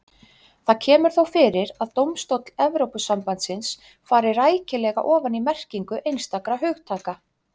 Það kemur þó fyrir að dómstóll Evrópusambandsins fari rækilega ofan í merkingu einstakra hugtaka.